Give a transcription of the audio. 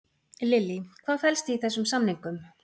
Lillý, hvað felst í þessum samningum?